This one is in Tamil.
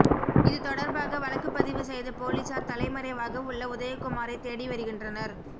இது தொடர்பாக வழக்கு பதிவு செய்த போலீசார் தலைமறைவாக உள்ள உதயகுமாரை தேடி வருகின்றனர்